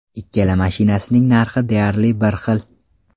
Ikkala mashinasining narxi deyarli bir xil.